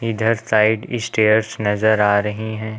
इधर side stairs नज़र आ रही हैं।